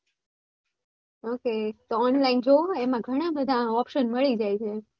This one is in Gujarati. okay તો Online જોવો એમાં ઘણા બધા option મળી જાય છે.